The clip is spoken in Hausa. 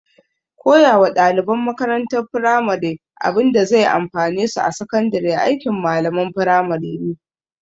Koya wa ɗaliban makarantar firamare abinda zai amfane su a sakandare aikin malamalan firamare ne